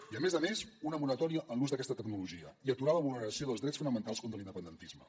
i a més a més una moratòria en l’ús d’aquesta tecnologia i aturar la vulneració dels drets fonamentals contra l’independentisme